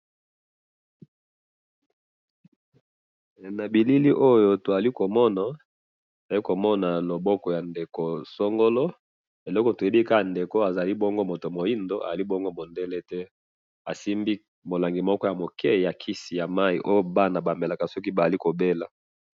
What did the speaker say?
he na bilili oyo tozali komona tozali komona loboko ya ndeko songolo eloko toyebi kaka ezali muto ya mwindu, ezali mundele te asimbi na lobolo kisi oyo bana bamelaka soki bazali kobela .